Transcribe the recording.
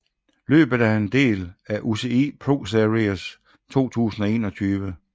Løbet er en del af UCI ProSeries 2021